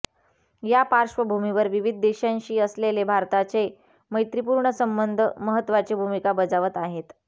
या पार्श्वभूमीवर विविध देशांशी असलेले भारताचे मैत्रिपूर्ण संबंध महत्त्वाची भूमिका बजावत आहेत